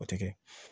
O tɛ kɛ